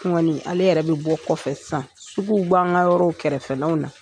Ale yɛrɛ bi bɔ kɔfɛ sisan. Suguw b'an ka yɔrɔw kɛrɛfɛlaw la .